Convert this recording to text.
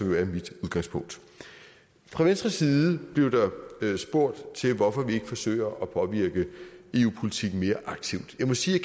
jo er mit udgangspunkt fra venstres side blev der spurgt til hvorfor vi ikke forsøger at påvirke eu politikken mere aktivt jeg må sige at